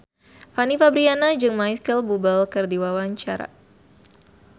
Fanny Fabriana jeung Micheal Bubble keur dipoto ku wartawan